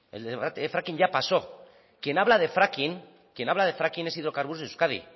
el fracking ya pasó quien habla de fracking es hidrocarburos de euskadi